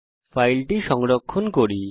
এখন ফাইলটি সংরক্ষণ করি